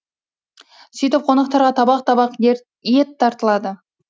сөйтіп қонақтарға табақ табақ ет тартылады